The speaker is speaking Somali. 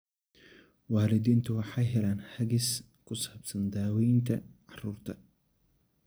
Waalidiintu waxay helaan hagis ku saabsan daawaynta carruurta.